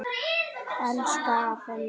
Elsku afi Númi.